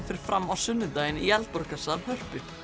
fer fram á sunnudaginn í Eldborgarsal Hörpu